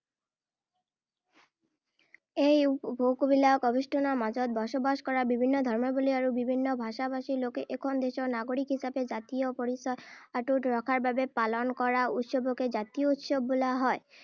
এই ভৌগোলিক আৱেষ্টনীৰ মাজত বসবাস কৰা, বিভিন্ন ধৰ্মাৱলম্বী আৰু বিভিন্ন ভাষা-ভাষী লোকে এখন দেশৰ নাগৰিক হিচাপে জাতীয় পৰিচয় অটুট ৰখাৰ বাবে পালন কৰা উৎসৱকে জাতীয় উৎসৱ বোলা হয়।